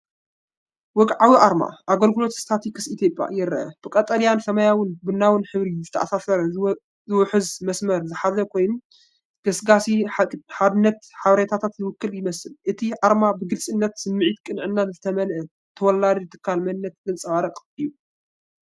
ወግዓዊ ኣርማ “ኣገልግሎት ስታቲስቲክስ ኢትዮጵያ” ይርአ። ብቀጠልያን ሰማያውን ቡናውን ሕብሪ ዝተኣሳሰረን ዝውሕዝን መስመር ዝሓዘ ኮይኑ፡ ንገስጋስን ንሓቅነት ሓበሬታን ዝውክል ይመስል። እቲ ኣርማ ብግልጽነትን ስምዒት ቅንዕናን ዝተመልአ ተወላዲ ትካል መንነት ዘንጸባርቕ እዩ።